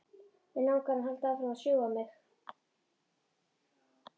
Mig langar að hann haldi áfram að sjúga mig.